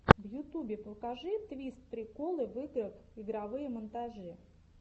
в ютубе покажи твист приколы в играх игровые монтажи